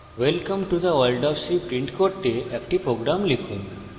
welcome to the world of c print করতে একটি program লিখুন